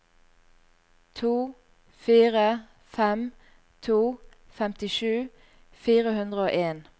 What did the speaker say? to fire fem to femtisju fire hundre og en